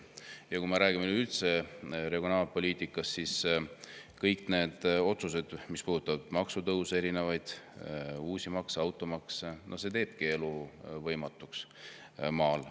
Ja kui me räägime üldse regionaalpoliitikast, siis kõik need otsused, mis puudutavad maksutõuse, erinevaid uusi makse, nagu automaks – no see teebki elu maal võimatuks.